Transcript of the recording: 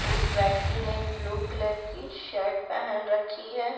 उस व्यक्ति ने ब्लू कलर की शर्ट पहन रखी है।